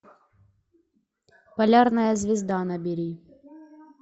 полярная звезда набери